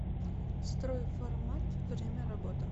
стройформат время работы